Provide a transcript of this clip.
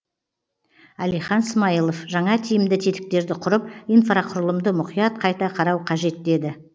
әлихан смайылов жаңа тиімді тетіктерді құрып инфрақұрылымды мұқият қайта қарау қажет деді